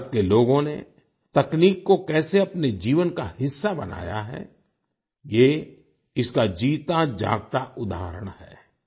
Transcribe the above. भारत के लोगों ने तकनीक को कैसे अपने जीवन का हिस्सा बनाया है ये इसका जीताजागता उदाहरण है